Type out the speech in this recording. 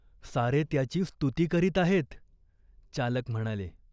सारे त्याची स्तुती करीत आहेत." चालक म्हणाले.